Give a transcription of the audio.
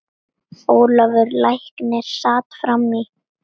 Ólafur læknir sat fram í.